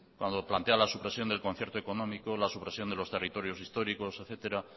cuando plantea la supresión del concierto económico la supresión de los territorios históricos etcétera